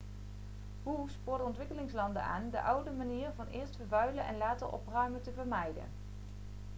hu spoorde ontwikkelingslanden aan de oude manier van eerst vervuilen en later opruimen te vermijden'